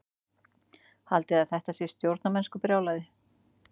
Haldiði að þetta sé stórmennskubrjálæði?